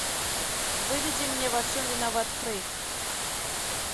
выведи мне во всем виноват фрейд